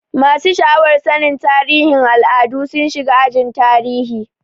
Masu sha'awar sannin tarihin al'adu sun shiga ajin tarihi.